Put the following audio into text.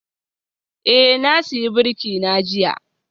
Eh, na sayi birki na jiya